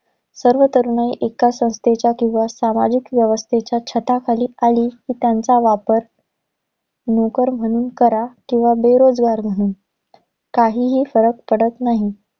सर्व तरुणाई एका संस्थेच्या किंवा, सामाजिक व्यवस्थेच्या छताखाली आली कि त्यांचा वापर, नोकर म्हणून करा, किंवा बेरोजगार म्हणून, काहीही फरक पडत नाही.